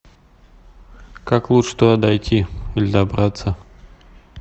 как лучше туда дойти или добраться